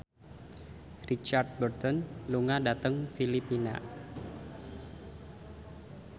Richard Burton lunga dhateng Filipina